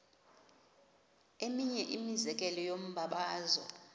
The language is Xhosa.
eminye imizekelo yombabazo